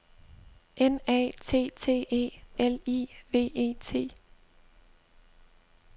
N A T T E L I V E T